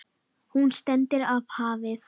Hún stendur af hafi.